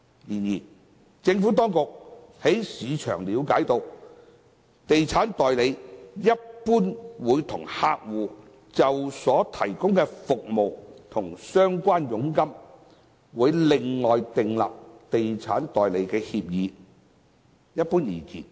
然而，政府當局從市場了解，地產代理一般會與客戶就所提供的服務和相關佣金，另外訂立地產代理協議。